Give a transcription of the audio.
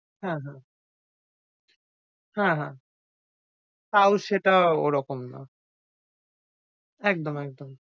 হ্যাঁ হ্যাঁ, হ্যাঁ হ্যাঁ। তাও সেটা ওরকম না। একদম, একদম।